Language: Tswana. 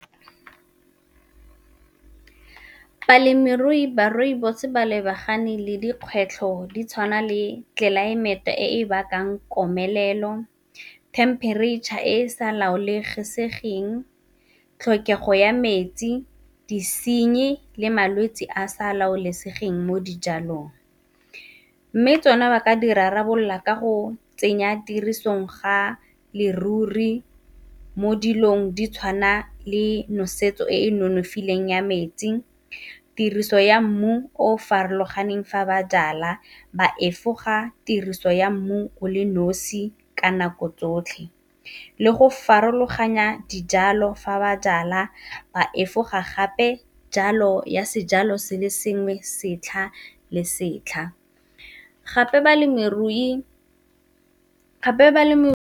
Balemirui ba rooibos ba lebagane le dikgwetlho di tshwana le tlelaemete e e bakang komelelo, temperature e e sa laolesegeng, tlhokego ya metsi, disenyi le malwetsi a sa laolesegeng mo dijalong. Mme tsona ba ka di rarabolola ka go tsenya tirisong ga leruri mo dilong di tshwana le nosetso e e nonofileng ya metsi, tiriso ya mmu o farologaneng fa ba jala, ba efoga tiriso ya mmu o le nosi ka nako tsotlhe, le go farologanya dijalo fa ba jala ba efoga gape jalo ya sejalo se le sengwe setlha le setlha, gape balemirui.